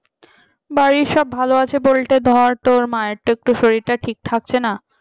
বাড়ির সব ভালো আছে বলতে ধর তোর মায়ের তো একটু শরীরটা ঠিক থাকছে না।